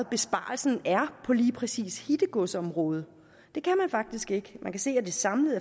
besparelsen er på lige præcis hittegodsområdet det kan man faktisk ikke man kan se at det samlet